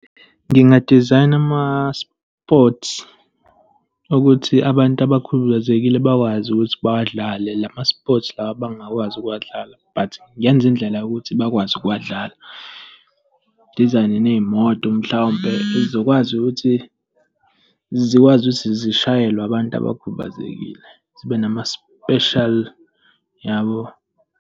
Ngingadizayina ama-sports ukuthi abantu abakhubazekile bakwazi ukuthi bawadlale la ma-sports lawa abangakwazi ukuwadlala, but ngenze indlela yokuthi bakwazi ukuwadlala. Ngidizayne ney'moto mhlawumpe ezokwazi ukuthi, zikwazi ukuthi zishayelwe abantu abakhubazekile, zibe nama-special, yabo.